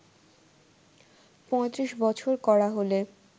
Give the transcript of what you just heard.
৩৫ বছর করা হলে